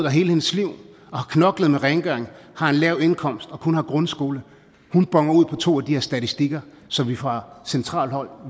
hele sit liv har knoklet med rengøring har en lav indkomst og kun grundskole boner ud på to af de her statistikker så vi fra centralt hold